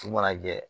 Su mana jɛ